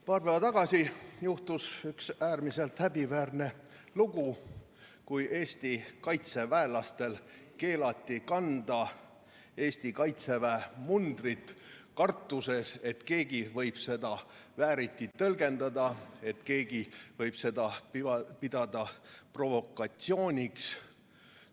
Paar päeva tagasi juhtus üks äärmiselt häbiväärne lugu, kui Eesti kaitseväelastel keelati kanda Eesti kaitseväe mundrit kartuses, et keegi võib seda vääriti tõlgendada, keegi võib seda pidada provokatsiooniks.